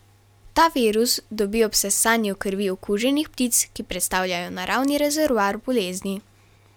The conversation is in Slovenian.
Ta virus dobi ob sesanju krvi okuženih ptic, ki predstavljajo naravni rezervoar bolezni.